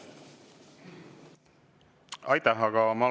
Aitäh!